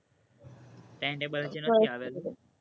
timetable હજી નથી આવેલું,